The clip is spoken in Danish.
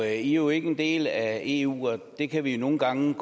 er jo ikke en del af eu og det kan vi nogle gange